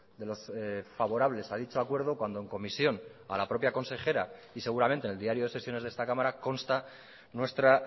de los favorables a dicho acuerdo cuando en comisión a la propia consejera y seguramente en el diario de sesiones de esta cámara consta nuestra